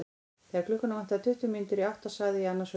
Þegar klukkuna vantaði tuttugu mínútur í átta sagði ég annars hugar.